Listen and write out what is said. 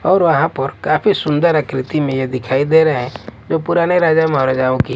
और वहां पर काफी सुंदर आकृति में ये दिखाई दे रहे हैं जो पुराने राजा महाराजाओं की--